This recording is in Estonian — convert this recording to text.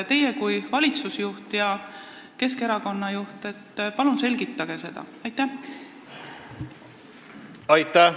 Teie kui valitsusjuht ja Keskerakonna juht, palun selgitage seda!